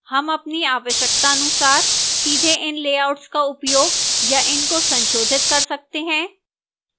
हम अपनी आवश्यकतानुसार सीधे इन layouts का उपयोग या इनको संशोधित कर सकते हैं